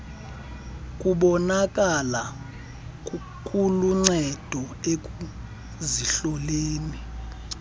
kubonakala kuluncedo ekuzihloleni